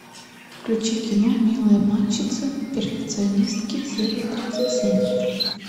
включи кино милые обманщицы перфекционистки серия тридцать семь